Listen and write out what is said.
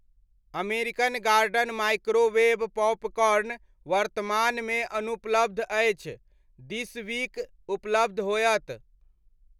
American Garden microwave popcorn वर्तमानमे अनुपलब्ध अछि, दिस वीक उपलब्ध होयत।